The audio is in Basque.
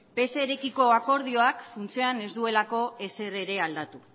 pserekiko akordioak funtsean ez duelako ezer ere aldatu